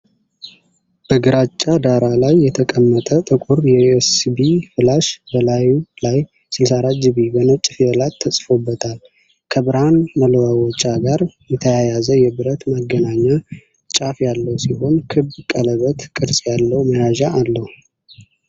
በግራጫ ዳራ ላይ የተቀመጠ ጥቁር የዩኤስቢ ፍላሽ ። በላዩ ላይ "64 ጂቢ" በነጭ ፊደላት ተጽፎበታል። ከብርሃን መለዋወጫ ጋር የተያያዘ የብረት ማገናኛ ጫፍ ያለው ሲሆን ክብ ቀለበት ቅርጽ ያለው መያዣ አለው።